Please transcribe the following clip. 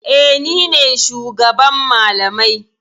Eh, ni ne shugaban malamai.